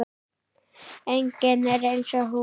Enginn er eins og hún.